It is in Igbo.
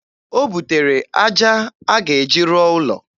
O butere aja a ga-eji rụọ ụlọ.